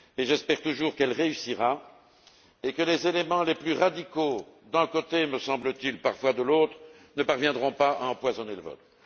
J'espère qu'elle réussira et que les éléments les plus radicaux d'un côté, me semble t il, parfois de l'autre ne parviendront pas à empoisonner le vote.